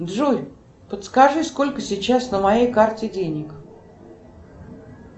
джой подскажи сколько сейчас на моей карте денег